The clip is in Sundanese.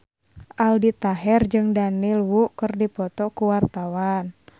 Aldi Taher jeung Daniel Wu keur dipoto ku wartawan